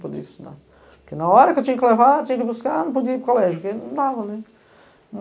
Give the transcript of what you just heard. poder estudar. Porque na hora que eu tinha que levar, tinha que buscar, não podia ir para o colégio, porque não dava, né.